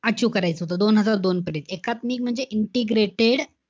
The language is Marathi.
Achieve करायचं होतं. दोन हजार दोन पर्यंत. एकात्मिक म्हणजे integrated,